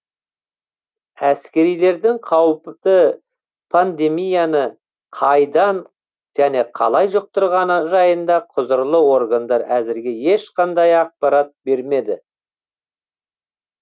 әскерилердің қауіпті пандемияны қайдан және қалай жұқтырғаны жайында құзырлы органдар әзірге ешқандай ақпарат бермеді